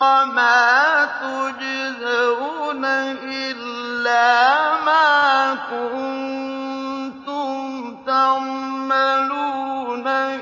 وَمَا تُجْزَوْنَ إِلَّا مَا كُنتُمْ تَعْمَلُونَ